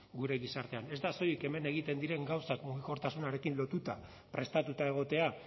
gure gizartean ez da soilik hemen egiten diren gauzak mugikortasunarekin lotuta prestatuta egotea